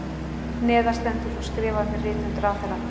Neðar stendur svo skrifað með rithönd ráðherra